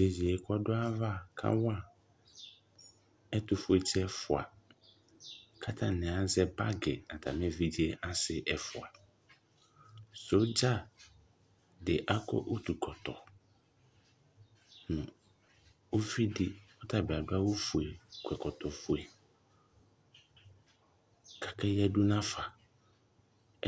Tʋ iyeye kʋ dʋ ayava kawa ɛtʋfuetsi ɛfua kʋ atani azɛ bagi nʋ atami evidze asi ɛfua Sodza di akɔ utukɔtɔ nʋ uvidi kʋ ɔtabi adʋ awʋ fue, kɔ ɛkɔtɔ fue kʋ akeyadʋ nafa